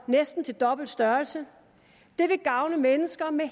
næsten til dobbelt størrelse det vil gavne mennesker med